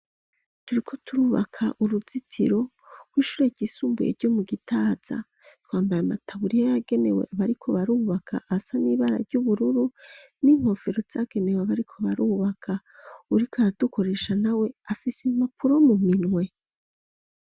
Turiko turubaka uruzitiro, rw'ishure ryisumbuye ryo mu Gitaza; twambaye amataburiya, yagenewe abariko barubaka, asa n'ibara ry'ubururu, n'inkofero zagenewe abariko barubaka; uwuriko aradukoresha nawe, afise impapuro mu minwe.